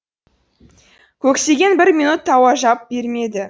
көксеген бір минут тажауап бермеді